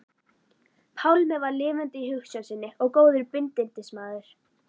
Pálmi var lifandi í hugsjón sinni og góður bindindismaður.